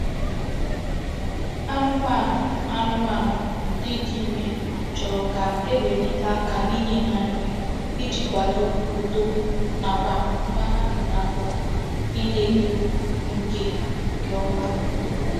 Anumanu Anumanu ndi di ime choro ka ewelite aka n'inye ha nri Iji kwado úto nakwa nwa ha bu n'afo I na-eto nke nke oma.